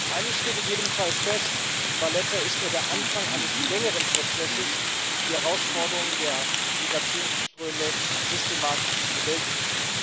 Eines steht in jedem Fall fest Valetta ist nur der Anfang eines längeren Prozesses, die Herausforderung der Migrationsströme systematisch zu bewältigen.